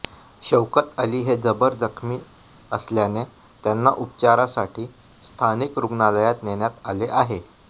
शौकत अली हे जबर जखमी असल्याने त्यांना उपचारासाठी स्थानिक रुग्णालयात नेण्यात आले आहे